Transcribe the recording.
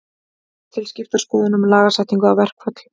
Það eru skiptar skoðanir um lagasetningu á verkföll.